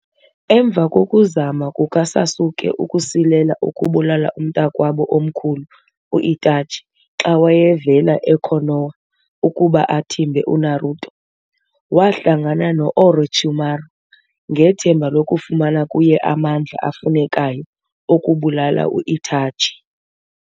Emva kokuzama kukaSasuke ukusilela ukubulala umntakwabo omkhulu u-Itachi xa wayevela eKonoha ukuba athimbe uNaruto, wahlangana noOrochimaru, ngethemba lokufumana kuye amandla afunekayo okubulala u-Itachi.